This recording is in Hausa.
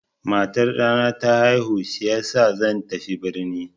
Matar ɗana ta haihu shiyasa zan tafi birni.